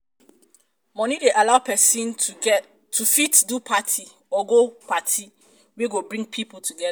money de allow persin to fit do party or go party wey go bring pipo together